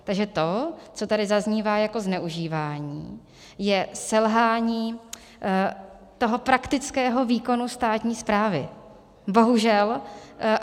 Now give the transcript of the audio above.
Takže to, co tady zaznívá jako zneužívání, je selhání toho praktického výkonu státní správy, bohužel.